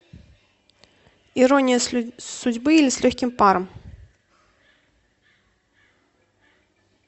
ирония судьбы или с легким паром